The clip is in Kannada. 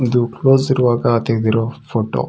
ಇದು ಕ್ಲೋಸ್ ಇರವಾಗ ತೆಗ್ದ್ ಇರೋ ಫೋಟೋ .